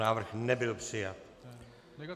Návrh nebyl přijat.